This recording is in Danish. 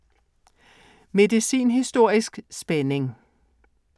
Medicinhistorisk spænding